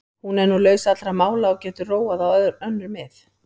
Hún er nú laus allra mála og getur róað á önnur mið.